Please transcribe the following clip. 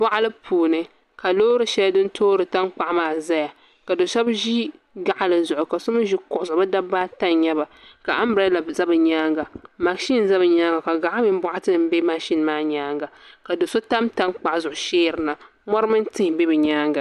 . Boɣali puuni ka loori shɛli din toori tankpaɣu maa ʒɛya ka do shab ʒi gaɣali zuɣu ka so mii ʒi kuɣu zuɣu bi dabba ata n nyɛba ka anbirɛla ʒɛ bi nyaanga mashin ʒɛ bi nyaanga ka gaɣa mini boɣati nim bɛ mashin maa nyaanga ka do so tam tankpaɣu zuɣu sheeri yirina mori mini tihi bɛ bi nyaanga